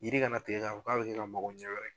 Yiri kana tigɛ ka fɔ k'a bɛ kɛ ka mago ɲɛ wɛrɛ kɛ.